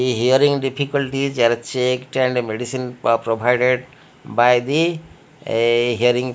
a hearing difficult is are checked and medicine pa provided by the a hearing--